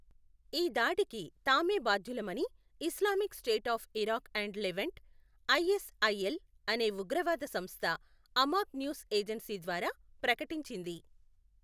ఈ దాడికి తామే బాధ్యులమని Islamic State of Iraq and Levant, ISIL అనే ఉగ్రవాద సంస్థ అమాక్ న్యూస్ ఏజెన్సీ ద్వారా ప్రకటించింది.